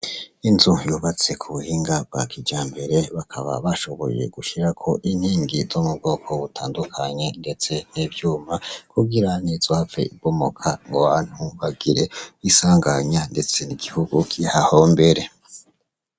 Inzu yubatse kubuhinga bwa kijambere ,bakaba bashoboye gushirako inkingi zo mubwoko butandukanye ndetse n'ivyuma ,kugira ntizohave ibomoka ngw'abantu bagire insanganya ndetse n'igihugu kihahombere.